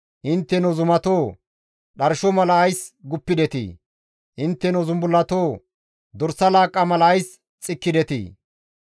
Intteno zumatoo! Dharsho mala ays guppidetii? Intteno zumbullatoo! Dorsa laaqqa mala ays xikkidetii?